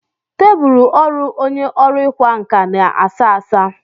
Tebụl ọrụ onye ọrụ ịkwa nkà na a sá asá.